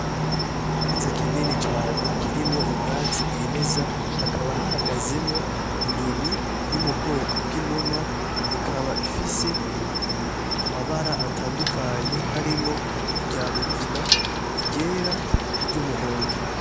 Ikibanza kinini cane kirimwo ubwatsi bwimeza hakaba hahagazemwo inyoni iri mu bwoko bw'inuma ikaba ifise amabara atandukanye harimwo iryamugina, iryera, ni ryumuhondo.